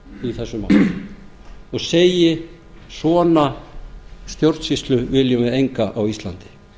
í þessu máli og segi svona stjórnsýslu viljum við enga á íslandi